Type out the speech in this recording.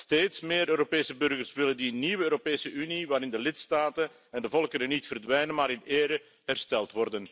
Steeds meer Europese burgers willen een nieuwe Europese Unie, waarin de lidstaten en de volkeren niet verdwijnen, maar in ere worden hersteld.